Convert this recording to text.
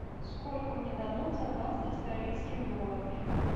сколько мне дадут за двадцать австралийских долларов